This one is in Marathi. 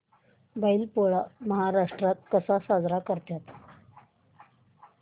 बैल पोळा महाराष्ट्रात कसा साजरा करतात